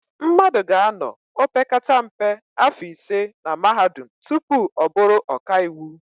Mmadụ ga-anọ opekata mpe áfọ̀ ise na Mahadum tupu ọ bụrụ ọkaiwu.